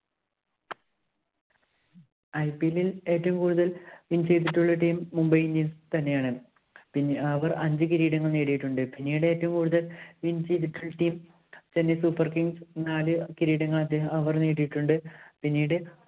IPL ഇല്‍ ഏറ്റവും കൂടുതല്‍ win ചെയ്തിട്ടുള്ള team Mumbai Indians തന്നെയാണ്. പിന്നെ അവര്‍ അഞ്ച് കിരീടങ്ങള്‍ നേടിയിട്ടുണ്ട്. പിന്നീട് ഏറ്റവും കൂടുതല്‍ win ചെയ്തിട്ടുള്ള team Chennai Super Kings നാല് കിരീടങ്ങള്‍ അദ്ദേഹം അവര്‍ നേടിയിട്ടുണ്ട്. പിന്നീട്